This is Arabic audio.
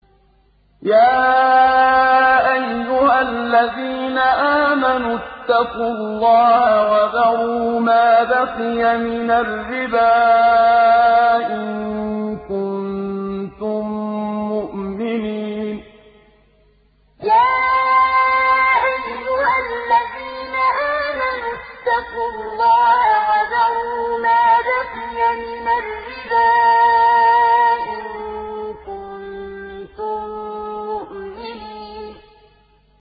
يَا أَيُّهَا الَّذِينَ آمَنُوا اتَّقُوا اللَّهَ وَذَرُوا مَا بَقِيَ مِنَ الرِّبَا إِن كُنتُم مُّؤْمِنِينَ يَا أَيُّهَا الَّذِينَ آمَنُوا اتَّقُوا اللَّهَ وَذَرُوا مَا بَقِيَ مِنَ الرِّبَا إِن كُنتُم مُّؤْمِنِينَ